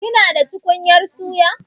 Kina da tukunyar suya?